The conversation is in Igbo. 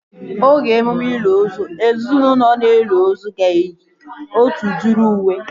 Oge emume ili ozu, ezinaụlọ na-eli ozu ga-eyi otu udiri uwe